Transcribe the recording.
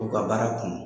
U ka baara kun